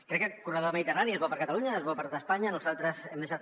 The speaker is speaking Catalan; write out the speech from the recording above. crec que el corredor mediterrani és bo per a catalunya és bo per a tot espanya nosaltres hem deixat